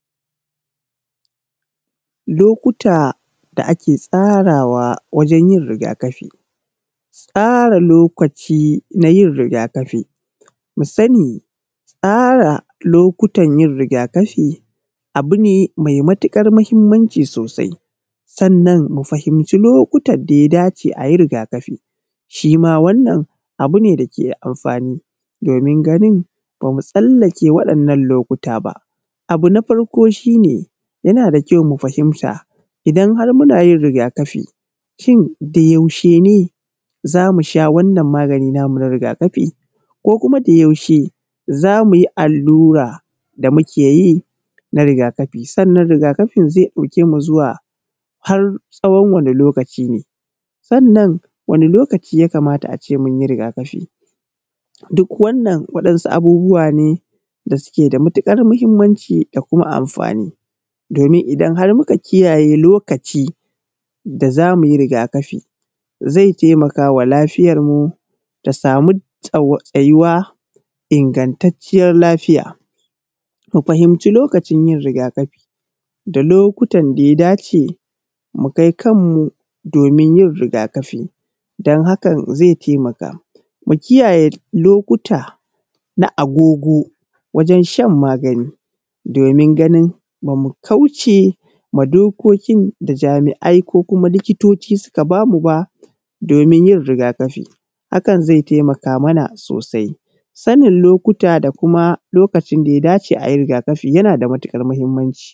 Lokuta da ake tsarawa wajen yin riga kafi, tsara lokaci wajen yin riga kafi mu sani tsara lokutan yin riga kafi abu ne mai matuƙar mahimmanci sosai sannan mu fahinci lokutan da ya dace ayi riga kafi shi ma wannan abu dake da amfani domin ganin ba mu tsallake waɗannan lokuta ba, abu na farko shi ne, yana da kyau mu fahimta idan har muna in ruga kafishin da yaushe ne za mu sha wannan magani na mu na riga kafi ko kuma da yaushe za mu yi allura da muke yi na riga kafi sannan riga kain zai ɗauke zawa har tsawon wani lokaci ne sannan wani lokaci ya kamata a ce munyi riga kafi? Duk wannan waɗansu abubuwa ne da suke da matuƙar mahimmanci da kuma amfani domin idan har muka kiyaye lokaci da zamu yi riga kafi zai taimakawa lafiyar mu ta samu tsau tsayiwa ingantaciyar lafiya, mu fahinci lokacin yin riga kafi da lokutan da ya dace mu kai kanmu domin yin riga kafi dan hakan zai taimaka, mu kiyaye lokuta na agogo wajen shan magani domin ganin ba mu kauce ma dokokin da jami`ai ko kuma likitoci suka ba mu ba domin yin riga kafi hakan zai taimaka mana sosai sannin lokuta da kuma lokacin da ya dace a yi riga kafi yana da matuƙar mahimmanci..